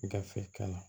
Gafe kanna